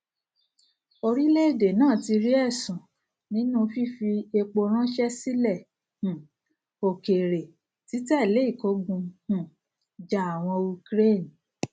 orílẹèdè náà ti rí èsun nínú fífi epo ránsẹ sílẹ um òkèèrè títẹlé ìkógun um jà àwọn ukraine